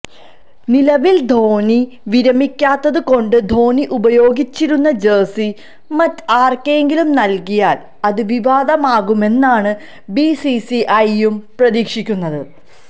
നിലവില് ധോണി വിരമിക്കാത്തത് കൊണ്ട് ധോണി ഉപയോഗിച്ചിരുന്ന ജേഴ്സി മറ്റാര്ക്കെങ്കിലും നല്ക്കിയാല് അത് വിവാദമാകുമെന്നാണ് ബിസിസിഐയും പ്രതീക്ഷിക്കുന്നത്